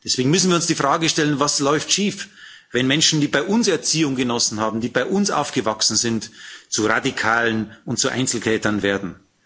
Deswegen müssen wir uns die Frage stellen Was läuft schief, wenn Menschen, die bei uns Erziehung genossen haben, die bei uns aufgewachsen sind, zu Radikalen und zu Einzeltätern werden?